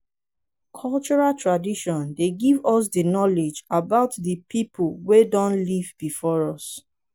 cultural tradition dey give us di knowledge about di pipo wey don live before us